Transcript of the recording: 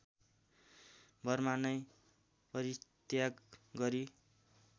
Burma नै परित्याग गरी